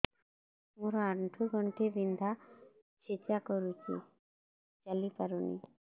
ମୋର ଆଣ୍ଠୁ ଗଣ୍ଠି ବିନ୍ଧା ଛେଚା କରୁଛି ଚାଲି ପାରୁନି